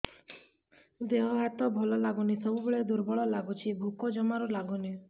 ଦେହ ହାତ ଭଲ ଲାଗୁନି ସବୁବେଳେ ଦୁର୍ବଳ ଲାଗୁଛି ଭୋକ ଜମାରୁ ଲାଗୁନି